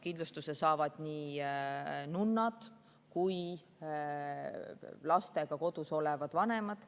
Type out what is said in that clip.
Kindlustuse saavad nii nunnad kui ka lastega kodus olevad vanemad.